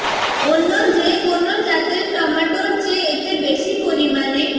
অন্য যে কোনো জাতের টমেটোর চেয়ে এতে বেশি পরিমাণে